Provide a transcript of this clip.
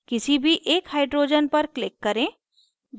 किसी भी एक hydrogens पर click करें